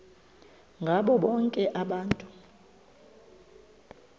ngabo bonke abantu